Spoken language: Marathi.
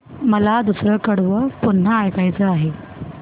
मला दुसरं कडवं पुन्हा ऐकायचं आहे